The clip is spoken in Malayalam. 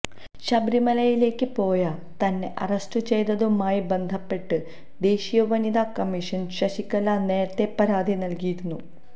ശബരിമലയിലേക്ക് പോയ തന്നെ അറസ്റ്റു ചെയ്തതുമായി ബന്ധപ്പെട്ട് ദേശീയ വനിതാ കമ്മിഷന് ശശികല നേരത്തെ പരാതി നല്കിയിരുന്നു